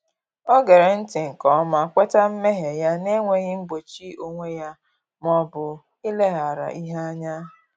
Ọ ghere nti nke ọma, kweta mmehie ya n’enweghị igbochi onwe ya ma ọ bụ ileghara ihe anya